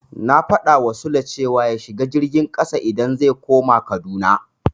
Na faɗawa Sule cewa ya shiga jirgin ƙasa idan zai koma Kaduna.